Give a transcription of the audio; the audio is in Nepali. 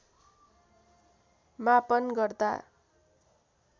मापन गर्दा